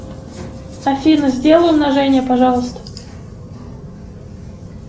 афина сделай умножение пожалуйста